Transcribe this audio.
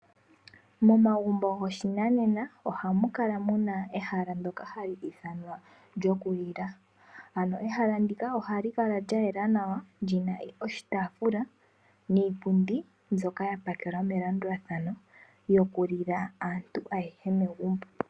Momagumbo goshinanena ohamu kala muna ehala ndyoka hali ithanwa ehala lyoku lila. Ano ehala ndika ohali kala lya yela nawa lina oshitaafula niipundi mbyoka ya pakelwa melandulathano yoku lila aantu ayehe megumbo.